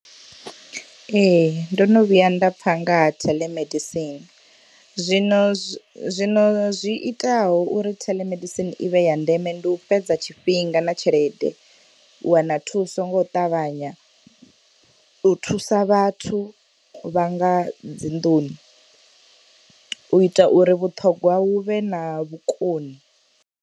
Ee ndono vhuya nda pfha nga ha theḽemedisini zwino zwi zwino zwi itaho uri theḽemedisini i vhe ya ndeme ndi u fhedza tshifhinga na tshelede, u wana thuso ngo ṱavhanya, u thusa vhathu vha nga dzi nḓuni, u ita uri vhuṱhongwa vhu vhe na vhukoni.